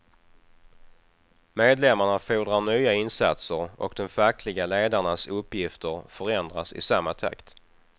Medlemmarna fordrar nya insatser, och de fackliga ledarnas uppgifter förändras i samma takt.